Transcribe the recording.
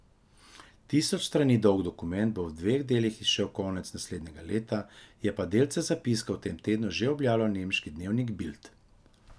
Tisoč strani dolg dokument bo v dveh delih izšel konec naslednjega leta, je pa delce zapiskov v tem tednu že objavljal nemški dnevnik Bild.